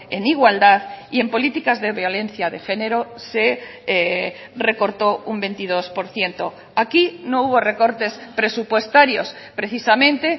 en igualdad y en políticas de violencia de género se recortó un veintidós por ciento aquí no hubo recortes presupuestarios precisamente